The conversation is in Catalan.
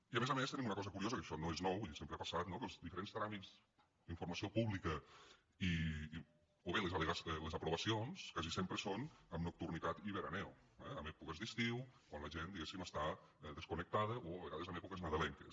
i a més a més tenim una cosa curiosa que això no és nou vull dir sempre ha passat no que els diferents tràmits d’informació pública o bé les aprovacions quasi sempre són amb nocturnitat i veraneo eh en èpoques d’estiu quan la gent diguéssim està desconnectada o a vegades en èpoques nadalenques